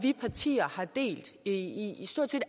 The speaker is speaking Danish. partier har delt i stort set